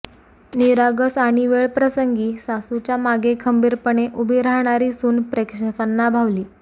निरागस आणि वेळ प्रसंगी सासूच्या मागे खंबीरपणे उभी राहणारी सून प्रेक्षकांना भावली